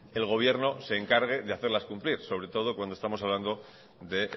el gobierno se encargue de hacerlas cumplir sobre todo cuando estamos hablando de